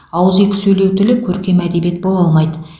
ауызекі сөйлеу тілі көркем әдебиет бола алмайды